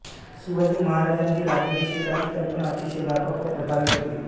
शिवाजी महाराजांची राज्याभिषेकाची कल्पना अतिशय व्यापक व प्रभावी होती